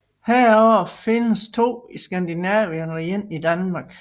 Heraf findes de to i Skandinavien og en enkelt i Danmark